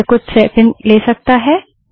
यह कुछ सैकण्ड ले सकता है